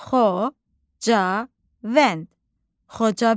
Xocavənd, Xocavənd.